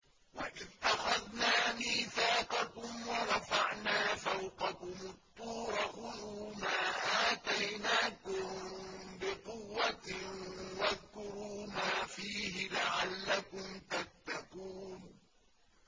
وَإِذْ أَخَذْنَا مِيثَاقَكُمْ وَرَفَعْنَا فَوْقَكُمُ الطُّورَ خُذُوا مَا آتَيْنَاكُم بِقُوَّةٍ وَاذْكُرُوا مَا فِيهِ لَعَلَّكُمْ تَتَّقُونَ